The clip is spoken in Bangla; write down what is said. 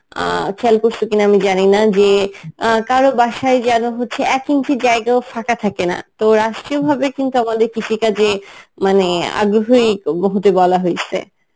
অ্যাঁ খেয়াল করছো কিনা আমি জানিনা যে আহ কারো বাসায় যেন হচ্ছে এক ইঞ্চি জায়গাও ফাঁকা থাকেনা তো রাষ্ট্রীয় ভাবে কিন্তু আমাদের কৃষিকাজে মানে আগ্রহই উম হতে বলা হইছে